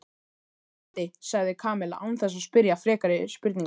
Spennandi sagði Kamilla án þess að spyrja frekari spurninga.